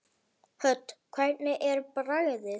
Hödd: Hvernig er bragðið?